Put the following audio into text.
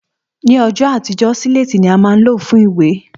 Ní õjõ àtíjö, sílétí ni á má n ló fun ìwé